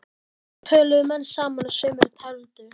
Svo töluðu menn saman og sumir tefldu.